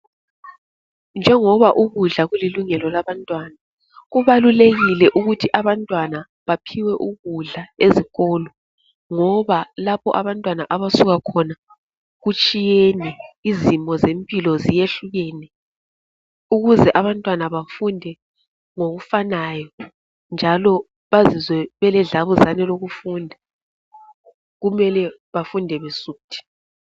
Njengoba ukudla kulilungelo labantwana kubalulekile ukuthi abantwana baphiwe ukudla ezikolo, ngoba lapha abantwana abasuka khona kutshiyene izimo zempilo ziyehlukene, ukuze abantwana bafunde ngokufanayo njalo bazizwe beledlabuzane lokufunda kumele bafunde besuthi.